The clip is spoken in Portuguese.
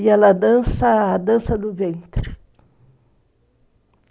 E ela dança a dança, dança do ventre.